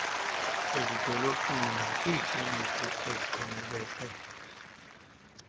ezidolophini nakwiikliniki ezixhomekeke